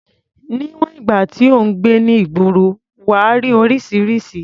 Níwọ̀n ìgbà tí ò ń gbé ní ìgboro, wà á rí oríṣiríṣi.